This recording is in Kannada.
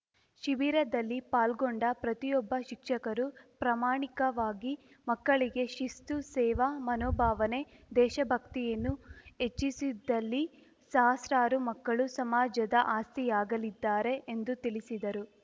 ಶಿಬಿರದಲ್ಲಿ ಪಾಲ್ಗೊಂಡ ಪ್ರತಿಯೊಬ್ಬ ಶಿಕ್ಷಕರು ಪ್ರಾಮಾಣಿಕವಾಗಿ ಮಕ್ಕಳಿಗೆ ಶಿಸ್ತು ಸೇವಾ ಮನೋಭಾವನೆ ದೇಶ ಭಕ್ತಿಯನ್ನು ಹೆಚ್ಚಿಸಿದಲ್ಲಿ ಸಹಸ್ರಾರು ಮಕ್ಕಳು ಸಮಾಜದ ಆಸ್ತಿಯಾಗಲಿದ್ದಾರೆ ಎಂದು ತಿಳಿಸಿದರು